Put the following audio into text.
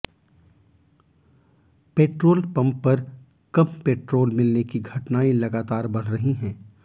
petrol pump पर कम petrol मिलने की घटनाएं लगातार बढ़ रही हैं